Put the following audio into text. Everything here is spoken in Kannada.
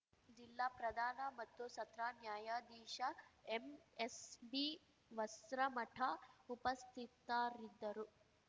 ಜಿಲ್ಲಾ ಪ್ರಧಾನ ಮತ್ತು ಸತ್ರ ನ್ಯಾಯಾಧೀಶ ಎಮ್ಎಸ್‌ಬಿ ವಸ್ತ್ರಮಠ ಉಪಸ್ಥಿತರಿದ್ದರು